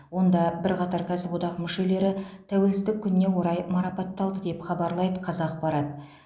онда бірқатар кәсіподақ мүшелері тәуелсіздік күніне орай марапатталды деп хабарлайды қазақпарат